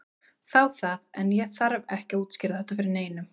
Þá það, en ég þarf ekki að útskýra þetta fyrir neinum.